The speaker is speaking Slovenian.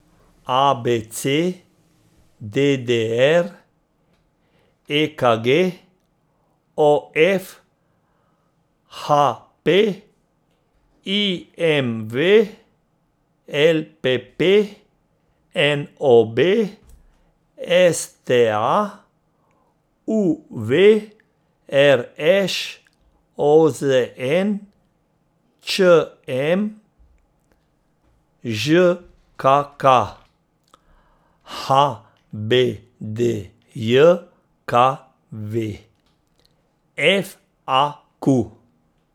A B C; D D R; E K G; O F; H P; I M V; L P P; N O B; S T A; U V; R Š; O Z N; Č M; Ž K K; H B D J K V; F A Q.